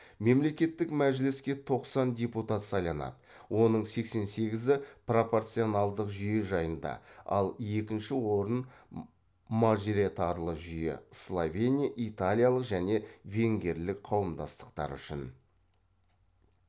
мемлекеттік мәжіліске тоқсан депутат сайланады оның сексен сегізі пропорционалдық жүйе жайында ал екінші орын мажоритарлы жүйе словения итальялық және венгерлік қауымдастықтары үшін